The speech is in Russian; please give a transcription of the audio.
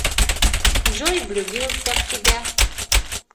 джой влюбился в тебя